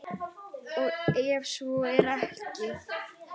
Og ef svo er ekki?